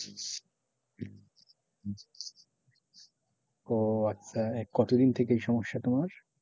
ওহ আচ্ছা কত দিন থেকে এই সমস্যা তোমার?